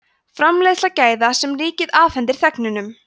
framleiðsla gæða sem ríkið afhendir þegnunum